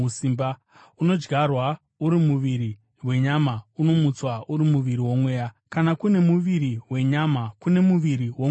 unodyarwa uri muviri wenyama, unomutswa uri muviri womweya. Kana kune muviri wenyama, kune muviri womweyawo.